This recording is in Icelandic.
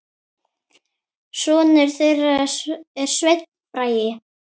Sonur þeirra er Sveinn Bragi.